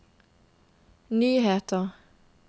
nyheter